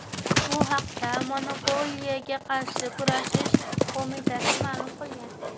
Bu haqda Monopoliyaga qarshi kurashish qo‘mitasi ma’lum qilgan .